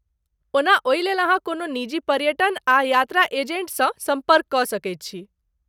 ओना , ओहिलेल, अहाँ कोनो निजी पर्यटन आ यात्रा एजेन्टसँ सम्पर्क कऽ सकैत छी।